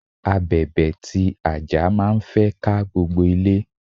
Abèbè ti àjà máa ń fẹ́ ká gbogbo ilé.